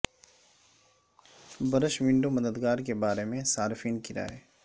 brush window مددگار کے بارے میں صارفین کی رائے